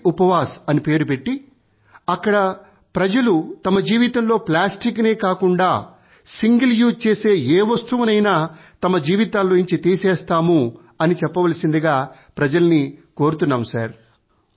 ప్లాస్టికప్వాస్ అని పెట్టి అక్కడ ప్రజలు తమ జీవితంలో ప్లాస్టిక్ నే కాకుండా సింగిల్ యూజ్ చేసే ఏ వస్తువునైనా తమ జీవితాలలోంచి తీసేస్తాము అని చెప్పవలసిందిగా ప్రజలని కోరుతున్నాము